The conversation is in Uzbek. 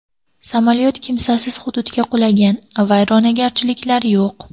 Samolyot kimsasiz hududga qulagan, vayronagarchiliklar yo‘q.